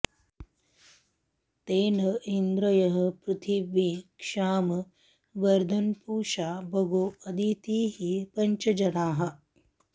ते न इन्द्रः पृथिवी क्षाम वर्धन्पूषा भगो अदितिः पञ्च जनाः